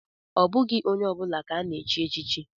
Ọ bụghị onye ọ bụla ka ana-echi echichi.